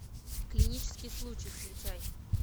клинический случай включай